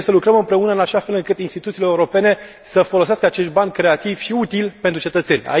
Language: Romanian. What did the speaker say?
Trebuie să lucrăm împreună în așa fel încât instituțiile europene să folosească acești bani creativ și util pentru cetățeni.